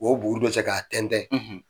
k'O buguru dƆ cƐ k'a tɛntƐn,